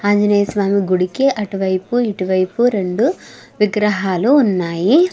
ఆంజనేయ స్వామి గుడికి అటువైపు ఇటువైపు రెండు విగ్రహాలు ఉన్నాయి.